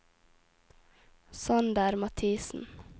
Sander Mathisen